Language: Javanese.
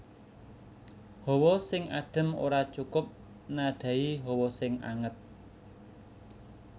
Hawa sing adem ora cukup nadhahi hawa sing anget